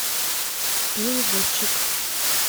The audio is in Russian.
переводчик